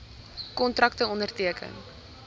kontrakte onderteken